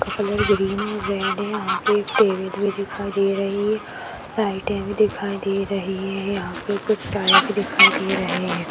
जिसका colour green और red है यहां पर एक टेबल भी दिखाई दे रही है लाइटे भी दिखाई दे रही हैं यहां पे कुछ टायर भी दिखाई दे रहे हैं।